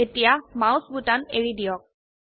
এতিয়া মাউস বোতাম এৰি দিয়ক